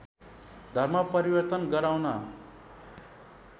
धर्म परिवर्तन गराउन